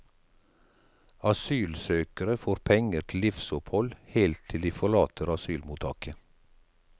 Asylsøkere får penger til livsopphold helt til de forlater asylmottaket.